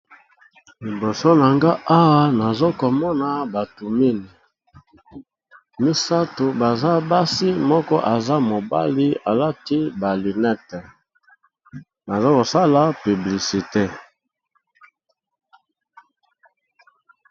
Liboso na nga awa nazokomona batu mini misato baza basi moko aza mobali alati balinete nazokosala publicité.